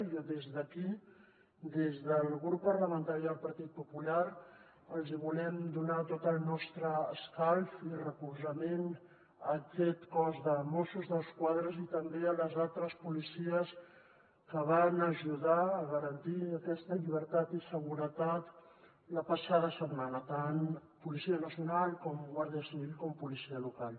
i jo des d’aquí des del subgrup parlamentari del partit popular els volem donar tot el nostre escalf i recolzament a aquest cos de mossos d’esquadra i també a les altres policies que van ajudar a garantir aquesta llibertat i seguretat la passada setmana tant policia nacional com guàrdia civil com policia local